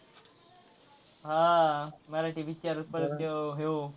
हां मराठी picture पण तो ह्यो,